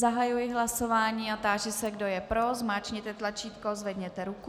Zahajuji hlasování a táži se, kdo je pro, zmáčkněte tlačítko, zvedněte ruku.